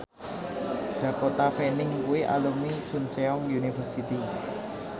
Dakota Fanning kuwi alumni Chungceong University